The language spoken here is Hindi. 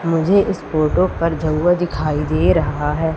मुझे इस फोटो पर झउआ दिखाई दे रहा है।